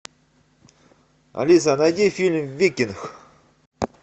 алиса найди фильм викинг